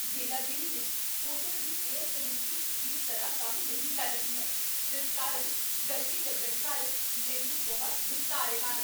ਯੇਲਾਗਿਰੀ ਵਿੱਚ ਹੋਟਲ ਦੀ air conditioning ਠੀਕ ਤਰ੍ਹਾਂ ਕੰਮ ਨਹੀਂ ਕਰ ਰਹੀ ਹੈ ਜਿਸ ਕਾਰਨ ਗਰਮੀ ਲੱਗਣ ਕਾਰਨ ਮੈਨੂੰ ਬਹੁਤ ਗੁੱਸਾ ਆ ਰਿਹਾ ਹੈ।